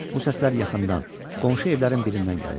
Bu səslər yaxından, qonşu evlərin birindən gəlirdi.